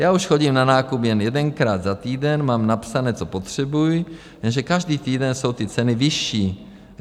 Já už chodím na nákup jen jedenkrát za týden, mám napsáno, co potřebuji, jenže každý týden jsou ty ceny vyšší.